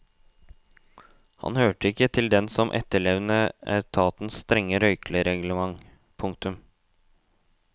Han hørte ikke til dem som etterlevde etatens strenge røykereglement. punktum